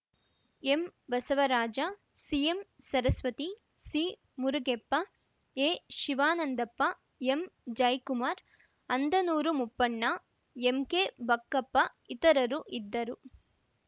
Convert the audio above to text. ಎಂಬಸವರಾಜ ಸಿಎಂಸರಸ್ವತಿ ಸಿಮುರಿಗೆಪ್ಪ ಎಶಿವಾನಂದಪ್ಪ ಎಂಜಯ್ ಕುಮಾರ ಅಂದನೂರು ಮುಪ್ಪಣ್ಣ ಎಂಕೆಬಕ್ಕಪ್ಪ ಇತರರು ಇದ್ದರು